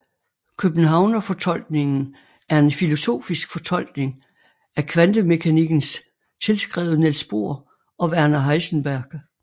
Københavnerfortolkningen er en filosofisk fortolkning af kvantemekanikken tilskrevet Niels Bohr og Werner Heisenberg